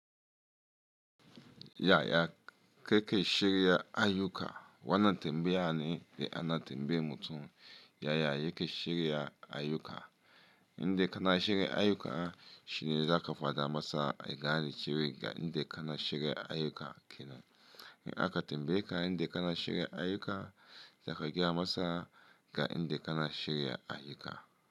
Yaya kake shirya ayyuka wannan tembe ya ne da ana tembe mutum yaya yake shirya ayyuka. Inda kana shirya ayyuka shine zaka faɗa masa a gani cewa ga inda kana shirya ayyuka kenan. In aka tembe ka inda kana shirya ayyuka zaka gaya masa ga inda kana shirya ayyuka.